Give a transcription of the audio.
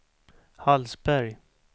Hallsberg